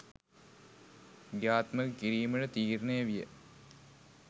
ක්‍රියාත්මක කිරීමට තීරණය විය.